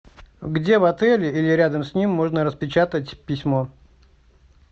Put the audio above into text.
где в отеле или рядом с ним можно распечатать письмо